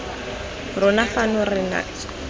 rona fano fa re na